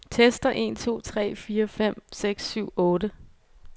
Tester en to tre fire fem seks syv otte.